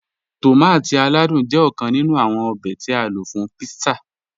Tọmátí aládùn jẹ́ ọ̀kàn nínú awọn òbè tí a ló fún pítsà.